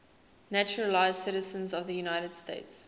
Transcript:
naturalized citizens of the united states